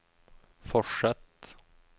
fortsett